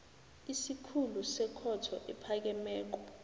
isikhulu sekhotho ephakemeko